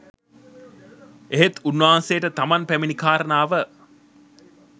එහෙත් උන්වහන්සේට තමන් පැමිණි කාරණාව